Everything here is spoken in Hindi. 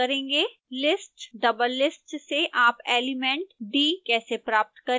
list doublelist से आप एलिमेंट d कैसे प्राप्त करेंगे